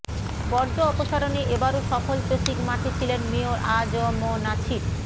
বর্জ্য অপসারণে এবারও সফল চসিক মাঠে ছিলেন মেয়র আ জ ম নাছির